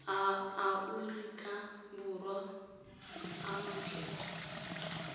a aorika borwa a makgetho